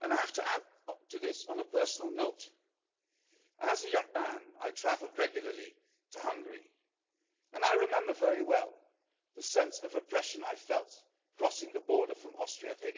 And I have to add to this on a personal note. As a young man I travelled regularly to Hungary and I remember very well the sense of oppression I felt crossing the border from